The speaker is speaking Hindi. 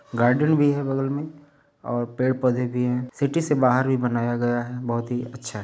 गार्डन भी है बगल में और पेड़ पौधे भी हैं। सिटी से बाहर भी बनाया गया है। बहुत ही अच्छा है।